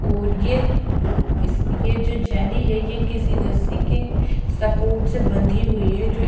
और ये उ इस ये जो जेली है ये किसी रस्सी के सपोट से बंधी हुई है जो --